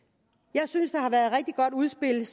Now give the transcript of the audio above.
jeg synes det udspil